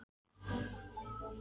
Já, ég hef stundum hugsað um það.